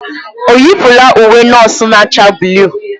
Ọ yipụla uwe nọọsụ na-acha buluu?